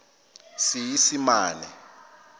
seesimane